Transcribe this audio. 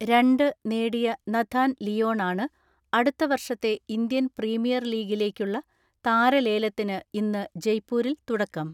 രണ്ട് നേടിയ നഥാൻ ലിയോണാണ് അടുത്ത വർഷത്തെ ഇന്ത്യൻ പ്രീമിയർ ലീഗിലേയ്ക്കുള്ള താരലേലത്തിന് ഇന്ന് ജയ്പൂരിൽ തുടക്കം.